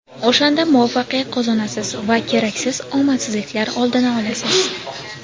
O‘shanda muvaffaqiyat qozonasiz va keraksiz omadsizliklar oldini olasiz.